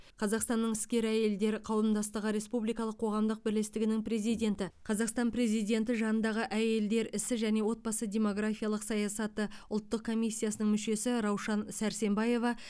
қазақстанның іскер әйелдер қауымдастығы республикалық қоғамдық бірлестігінің президенті қазақстан президенті жанындағы әйелдер ісі және отбасы демографиялық саясат ұлттық комиссиясының мүшесі раушан сәрсембаева